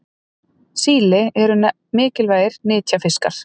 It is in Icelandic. síli eru mikilvægir nytjafiskar